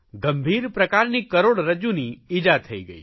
ગંભીર પ્રકારની કરોડરજ્જૂની ઇજા થઇ ગઇ